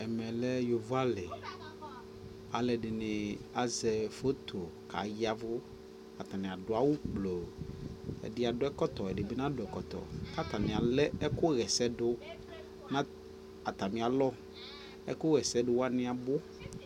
ɛmɛ lɛ yɔvɔ ali, alʋɛdini azɛ photo kʋ ayavu, atani adʋ awʋ gblɔɔ, ɛdi adʋ ɛkɔtɔ, ɛdibi nadʋ ɛkɔtɔ kʋ atani alɛ ɛkʋ yɛsɛ dʋ nʋ atami alɔ, ɛkʋ yɛsɛ dʋ wani abʋ